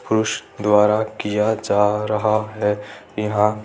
द्वारा किया जा रहा है यहां --